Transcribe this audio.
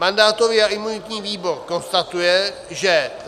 Mandátový a imunitní výbor konstatuje, že